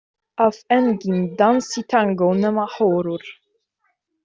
Að enginn dansi tangó nema hórur?